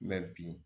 bi